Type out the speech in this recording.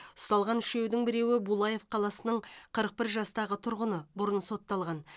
ұсталған үшеудің біреуі булаев қаласының қырық бір жастағы тұрғыны бұрын сотталған